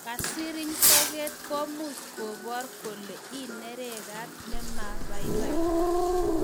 Kesiriny toget ko much ko bor kole ineregat na me baibai